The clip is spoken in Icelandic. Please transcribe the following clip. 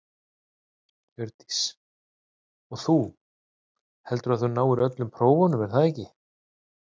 Hjördís: Og þú, heldurðu að þú náir öllum prófunum er það ekki?